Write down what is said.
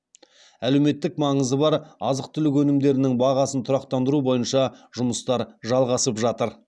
әлеуметтік маңызы бар азық түлік өнімдерінің бағасын тұрақтандыру бойынша жұмыстар жалғасып жатыр